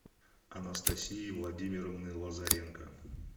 анастасии владимировны лазаренко